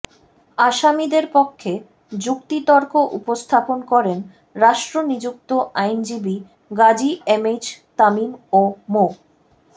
আসামিদের পক্ষে যুক্তিতর্ক উপস্থাপন করেন রাষ্ট্রনিযুক্ত আইনজীবী গাজী এমএইচ তামিম ও মো